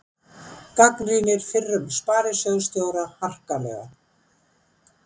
Gagnrýnir fyrrum sparisjóðsstjóra harkalega